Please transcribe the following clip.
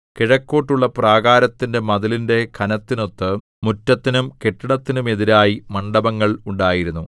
കിഴക്കോട്ടുള്ള പ്രാകാരത്തിന്റെ മതിലിന്റെ ഘനത്തിനൊത്ത് മുറ്റത്തിനും കെട്ടിടത്തിനുമെതിരായി മണ്ഡപങ്ങൾ ഉണ്ടായിരുന്നു